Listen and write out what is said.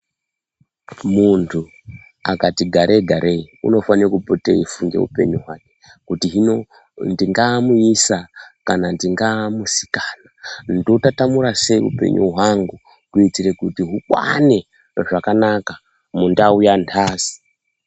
Muntu akati garei garei unofane kupote eifunde upenyu hwake kuti hino ndingaa muisa kana nfingaa musikana ndotatamura sei upenyu hwangu kuitire kuti hukwane zvakanaka mundau yantasi.